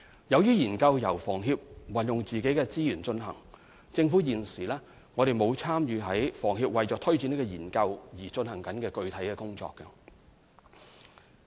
由於研究由房協運用自己的資源進行，政府現時並無參與房協為推展研究而進行的具體工作。